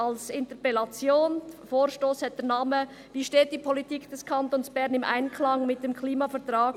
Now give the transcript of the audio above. Wir werden die Zwischenziele, die wir uns bei der damaligen Energiestrategie gesetzt haben, im Jahr 2020 nicht erreichen.